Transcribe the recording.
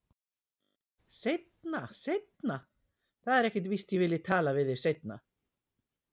Seinna, seinna, það er ekkert víst að ég vilji tala við þig seinna.